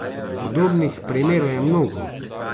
Podobnih primerov je mnogo.